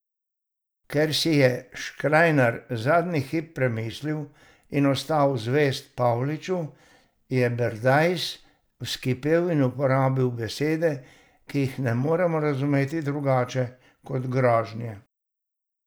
Ker si je Škrajnar zadnji hip premislil in ostal zvest Pavliču, je Berdajs vzkipel in uporabil besede, ki jih ne moremo razumeti drugače kot grožnje.